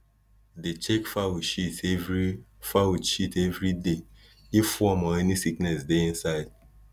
dey check fowl shit every fowl shit every day if worm or any sickness dey inside